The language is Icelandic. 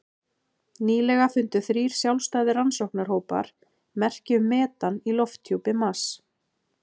Nýlega fundu þrír sjálfstæðir rannsóknarhópar merki um metan í lofthjúpi Mars.